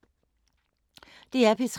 DR P3